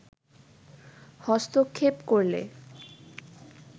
হস্তক্ষেপ করলে